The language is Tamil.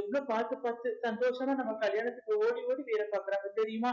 எவ்வளவு பார்த்து பார்த்து சந்தோஷமா நம்ம கல்யாணத்துக்கு ஓடி ஓடி வேலை பாக்குறாங்க தெரியுமா